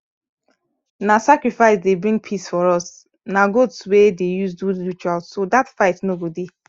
na sacrifice dey bring peace for us na goat we dey use take do rituals so dat fight no go dey